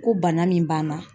Ko bana min b'an na.